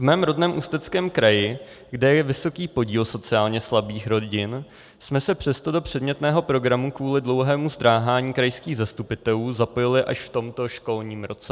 V mém rodném Ústeckém kraji, kde je vysoký podíl sociálně slabých rodin, jsme se přesto do předmětného programu kvůli dlouhému zdráhání krajských zastupitelů zapojili až v tomto školním roce.